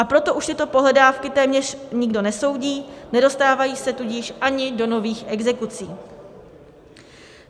A proto už tyto pohledávky téměř nikdo nesoudí, nedostávají se tudíž ani do nových exekucí.